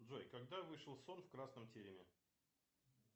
джой когда вышел сон в красном тереме